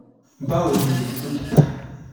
báwo ni o dókítà?